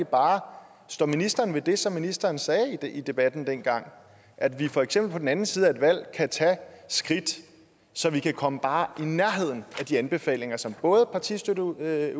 bare står ministeren ved det som ministeren sagde i debatten dengang at vi for eksempel på den anden side af et valg kan tage skridt så vi kan komme bare i nærheden af de anbefalinger som både partistøtteudvalget